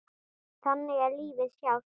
Þannig er lífið sjálft.